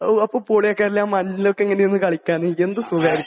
ഓഹ് അപ്പോൾ പോളിയൊക്കെ അല്ലെ. മഞ്ഞിലൊക്കെ ഇങ്ങനെയൊക്കെ കളിക്കാൻ. എന്ത് സുഖമാണല്ലേ.